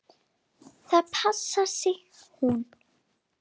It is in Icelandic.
Það passar, sagði hún.